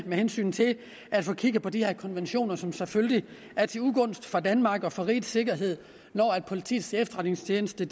med hensyn til at få kigget på de her konventioner som selvfølgelig er til ugunst for danmark og for rigets sikkerhed når politiets efterretningstjeneste